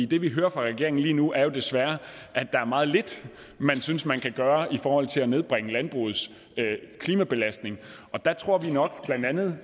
det vi hører fra regeringen lige nu er jo desværre at der er meget lidt man synes man kan gøre i forhold til at nedbringe landbrugets klimabelastning og der tror vi nok blandt andet